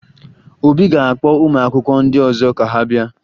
Obi ga-akpọ ụmụakwụkwọ ndị ọzọ ka ha bịa